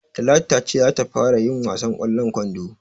Talatu ta ce za ta fara yin wasan ƙwallon kwando.